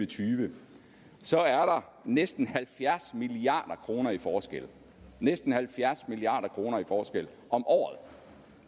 tyve så er der næsten halvfjerds milliard kroner i forskel næsten halvfjerds milliard kroner i forskel